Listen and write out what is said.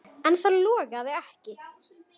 En það logaði ekki.